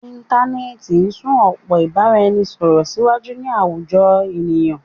Íntanẹ́ẹ̀ti ti sún ọpọ́n ìbáraẹnisọ̀rọ̀ síwájú ní àwùjọ ènìyàn.